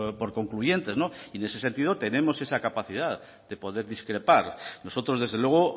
por concluyentes y en ese sentido tenemos esa capacidad de poder discrepar nosotros desde luego